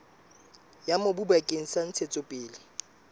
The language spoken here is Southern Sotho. ya mobu bakeng sa ntshetsopele